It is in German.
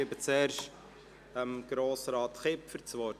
Ich gebe zuerst Grossrat Kipfer das Wort.